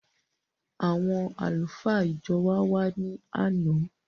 Àwọn àlùfáà ìjọ wa wàá ni àná